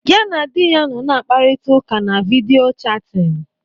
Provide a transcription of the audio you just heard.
Ya na di ya nọ na-akparịta ụka na vidiyo chatin.